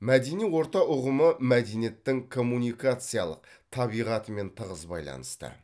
мәдени орта ұғымы мәдениеттің коммуникациялық табиғатымен тығыз байланысты